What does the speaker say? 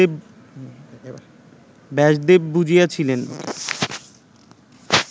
Vyasdev বুঝিয়াছিলেন